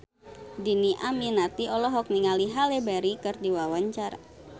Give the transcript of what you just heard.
Dhini Aminarti olohok ningali Halle Berry keur diwawancara